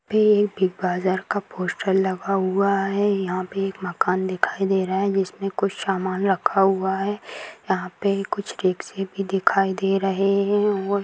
यहाँ पे एक बिग बाजार का पोस्टर लगा हुआ है यहाँ पे मकान दिखाई दे रहा है जिसमें कुछ सामान रखा हुआ है यहाँ पे कुछ रिक्शे भी दिखाई दे रहे हैं और --